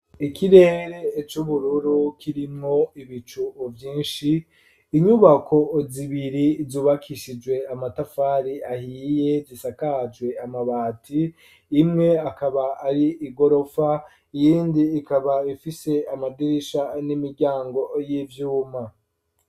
Ikirere c'ubururu kirimwo ibicu vyinshi inyubako zibiri zubakishijwe amatafari ahiye zisakajwe amabati , imwe akaba ari igorofa iyindi ikaba ifise amadirisha n'imiryango y'ivyuma.